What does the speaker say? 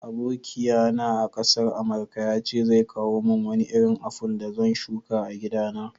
Abokiya na a'kasar amarka ya ce zai kawo mun Wani irin aful da zan shuka a'gida na.